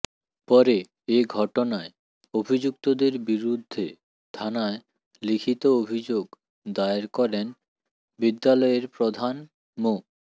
পরে এ ঘটনায় অভিযুক্তদের বিরুদ্ধে থানায় লিখিত অভিযোগ দায়ের করেন বিদ্যালয়ের প্রধান মো